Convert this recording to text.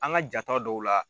An ka jaata dɔw la